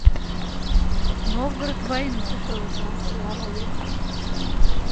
новгород в войну